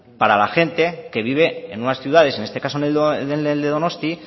para la gente que vive en unas ciudades en este caso en donostia